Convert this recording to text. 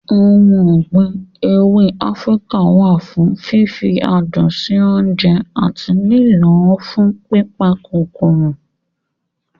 Ohun ọ̀gbìn ewé Áfíríkà wà fún fífi adùn sí oúnjẹ àti lílọ̀ fún pípa kòkòrò.